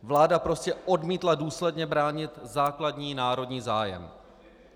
Vláda prostě odmítla důsledně bránit základní národní zájem.